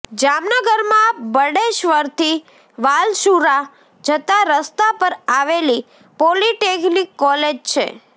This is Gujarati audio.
જામનગરમાં બેડેશ્ર્વરથી વાલસુરા જતા રસ્તા પર આવેલી પોલીટેકનીક કોલેજ છે